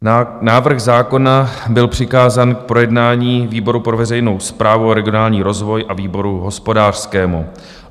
Návrh zákona byl přikázán k projednání výboru pro veřejnou správu a regionální rozvoj a výboru hospodářskému.